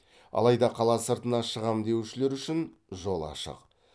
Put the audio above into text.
алайда қала сыртына шығам деушілер үшін жол ашық